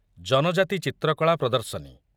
ଜନଜାତି ଚିତ୍ରକଳା ପ୍ରଦର୍ଶନୀ